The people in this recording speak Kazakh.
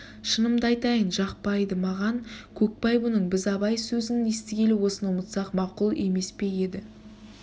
шынымды айтайын жақпайды маған көкбай мұның біз абай сөзін естігелі осыны ұмытсақ мақұл емес пе еді